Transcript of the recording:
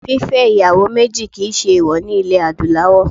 Fífẹ́ ìyàwó méjì kì í ṣe èèwọ̀ ní ilẹ̀ Adúláwọ̀